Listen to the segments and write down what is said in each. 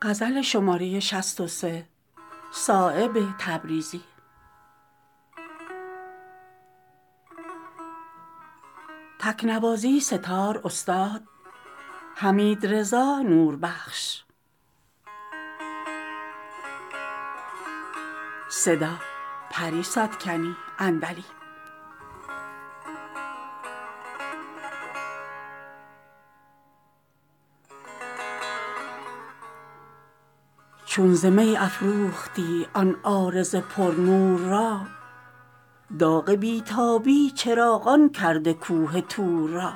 چون ز می افروختی آن عارض پر نور را داغ بی تابی چراغان کرد کوه طور را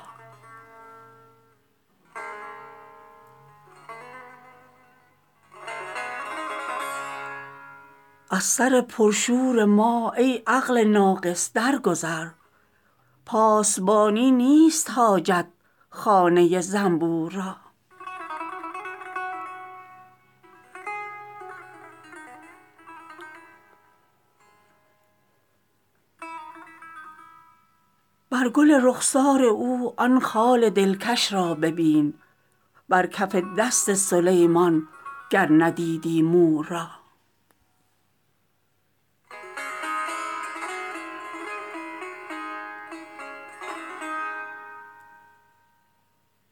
از سر پر شور ما ای عقل ناقص در گذر پاسبانی نیست حاجت خانه زنبور را بر گل رخسار او آن خال دلکش را ببین بر کف دست سلیمان گر ندیدی مور را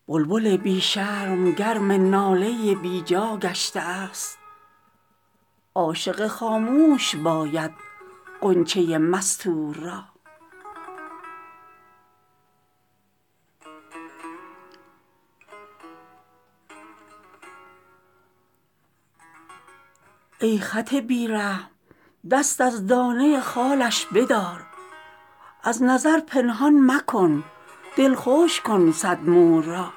بلبل بی شرم گرم ناله بیجا گشته است عاشق خاموش باید غنچه مستور را ای خط بی رحم دست از دانه خالش بدار از نظر پنهان مکن دلخوش کن صد مور را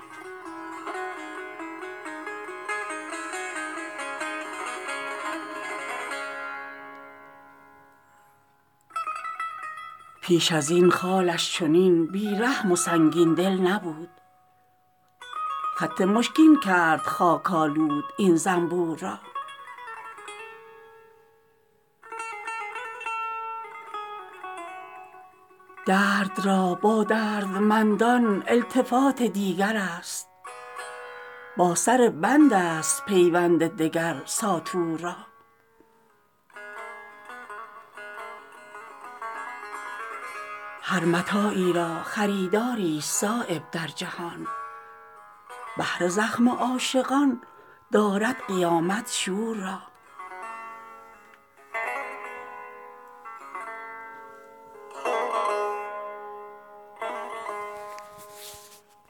پیش ازین خالش چنین بی رحم و سنگین دل نبود خط مشکین کرد خاک آلود این زنبور را درد را با دردمندان التفات دیگرست با سر بندست پیوند دگر ساطور را هر متاعی را خریداری است صایب در جهان بهر زخم عاشقان دارد قیامت شور را